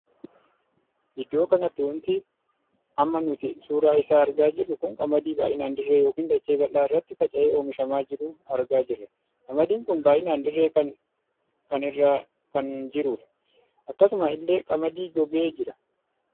Iddoo kanatti wanti amma nuti suuraa isaa argaa jirru kun qamadii baay'inaan dirree ykn dachee bal'aa irratti faca'ee oomishamaa jiru argaa jira. qamadiin kun baay'inan dirree kan irra kan jirudha. akkasuma illee qamadii gogee jira.